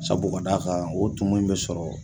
Sabu ka da a kan o tumu in bɛ sɔrɔ